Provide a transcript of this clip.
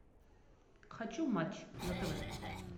хочу матч на тв